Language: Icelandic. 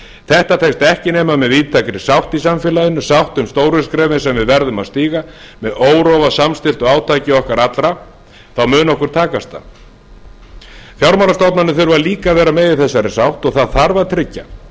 þetta tekst ekki nema með víðtækri sátt í samfélaginu sátt um stóru skrefin sem við verðum að stíga með órofa samstilltu átaki okkar allra mun okkur takast það fjármálastofnanir þurfa líka að vera með í þessari sátt og það þarf að tryggja